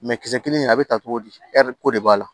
kisɛ kelen in a be ta cogo di ko de b'a la